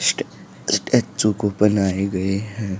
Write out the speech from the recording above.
स्टै statue को बनाए गए है।